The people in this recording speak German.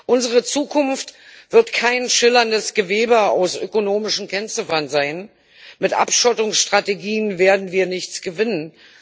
Unsere Zukunft wird kein schillerndes Gewebe aus ökonomischen Kennziffern sein, mit Abschottungsstrategien werden wir nichts gewinnen.